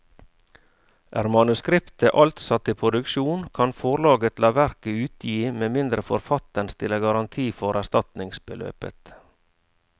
Er manuskriptet alt satt i produksjon, kan forlaget la verket utgi med mindre forfatteren stiller garanti for erstatningsbeløpet.